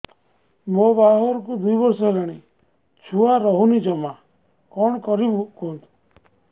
ମୋ ବାହାଘରକୁ ଦୁଇ ବର୍ଷ ହେଲାଣି ଛୁଆ ରହୁନି ଜମା କଣ କରିବୁ କୁହନ୍ତୁ